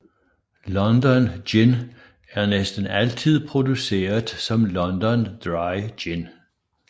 London Gin er næsten altid produceret som London Dry Gin